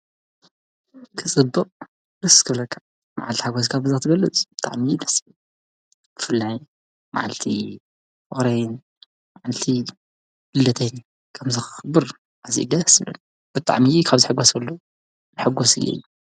ክፅብቕ ደስ ክብለካ መዓልቲ ሓጎስካ በዚ ክትገልፅ ብጣዕሚ እዩ ደስ ዝብል ፤ብፍላይ መዓልቲ ፍቕረይን መዓልቲ ልደተይን ከምዚ ከኽብር ኣዝዩ እዩ ደስ ዝብለኒ ፤ብጣዕሚ ካብ ዝሕጎሰሉ ሕጉስ እየ።